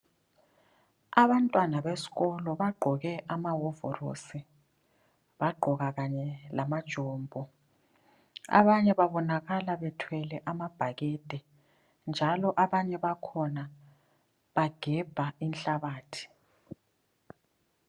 Abantwana besikolo, bagqoke amawovorosi, bagqoka kanye lamajombo. Abanye babonakala bethwele amabhakede njalo abanye bakhona bagebha inhlabathi.